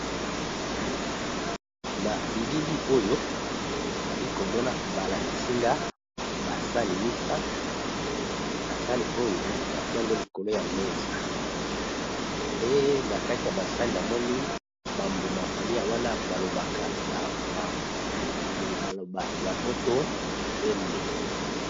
na bilili oyo nali komona balakisinga basani misato basani oyo batiango likolo ya mesa pe na kati ya basani amoni bambuma kolia wana balobaka na maloba ya poto emb